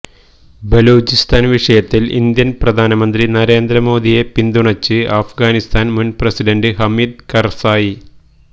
ബലൂചിസ്ഥാന് വിഷയത്തില് ഇന്ത്യന് പ്രധാനമന്ത്രി നരേന്ദ്ര മോഡിയെ പിന്തുണച്ച് അഫ്ഗാനിസ്ഥാന് മുന് പ്രസിഡന്റ് ഹമീദ് കര്സായി